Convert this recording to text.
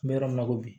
N bɛ yɔrɔ min na ko bi